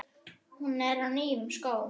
Hún er í nýjum skóm.